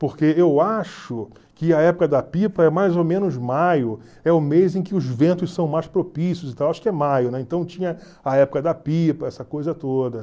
Porque eu acho que a época da pipa é mais ou menos maio, é o mês em que os ventos são mais propícios acho que é maio, né, então tinha a época da pipa, essa coisa toda.